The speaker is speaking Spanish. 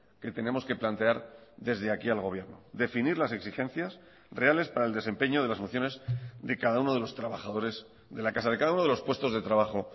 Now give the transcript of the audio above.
que tenemos que plantear desde aquí al gobierno definir las exigencias reales para el desempeño de las funciones de cada uno de los trabajadores de la casa de cada uno de los puestos de trabajo